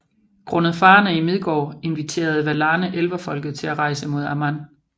Grundet farerne i Midgård inviterede Valarne Elverfolket til at rejse mod Aman